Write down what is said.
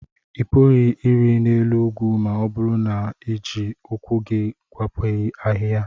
Ị pụghị ịrị n'elu ugwu ma ọ bụrụ na ị na-eji ụkwụ gị gwepịaghị ahịhịa.